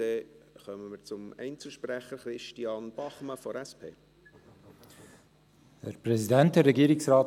Dann kommen wir zu den Einzelsprechenden: Christian Bachmann von der SP.